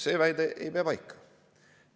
See väide ei pea paika.